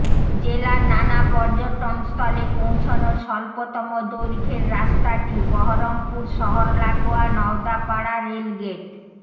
জেলার নানা পর্যটনস্থলে পৌঁছনোর স্বল্পতম দৈর্ঘ্যের রাস্তাটি বহরমপুর শহর লাগোয়া নওদাপাড়া রেলগেট